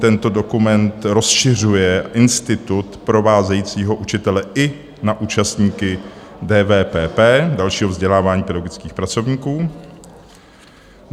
Tento dokument rozšiřuje institut provázejícího učitele i na účastníky DVPP - dalšího vzdělávání pedagogických pracovníků.